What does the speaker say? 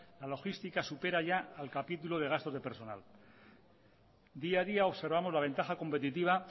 la logística supera ya al capítulo de gastos de personal día a día observamos la ventaja competitiva